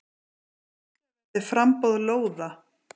Tryggja verði framboð lóða.